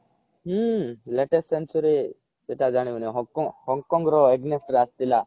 ହୁଁ latest century ସେଟା ଜାଣିବିନି ହଂ କଙ୍ଗ ର against ରେ ଆସିଥିଲା